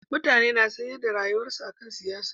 Mutane na sanyar da rayuwarsu akan siyasa